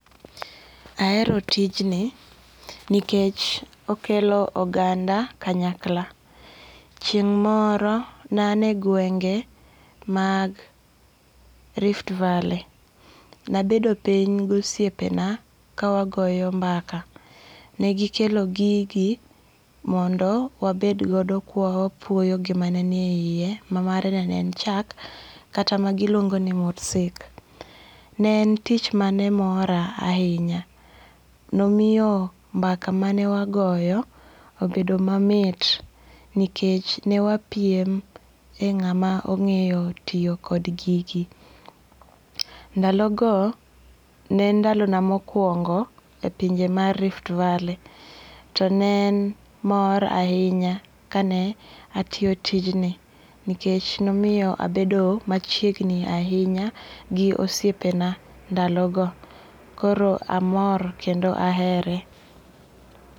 Ahero tijni kikech okelo odanga kanyakla , chieng' moro ne ane gwenge mag Rift valley nabedo piny gi osiepena kawagoyo mbaka negikelo gigi mondo wabedgodo ka wapuoyo gima ne niye hiye ma mano ne en chak kata ma giluongo ni mursik, ne en tich manemora ahinya, nomiyo mbaka mane wagoyo obedo mamit nikech newapiem e nga'ma onge'yo tiyo kod gigi, ndalo go ne en ndalona mokuongo e pinje ma Rift velley to ne en mor ahinya kane atiyo tijni nikech nomiyo abedo machiegni ahinya gi osiepena ndalogo koro amor kendo ahere